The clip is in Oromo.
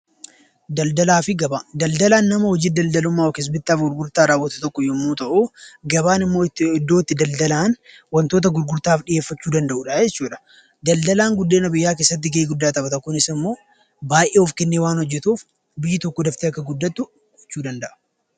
Daldalaan nama hojii daldalummaa yookiis bittaa fi gurgurtummaa raawwatu tokko yommuu ta'u, gabaan immoo iddoo itti daldalaan wantoota gurgurtaaf dhiyeeffachuu danda'udha jechuudha. Daldalaan guddina biyyaa keessatti gahee guddaa taphata. Kunis immoo baay'ee of kennee waan hojjetuuf biyyi tokko daftee akka guddattu gochuu danda'a.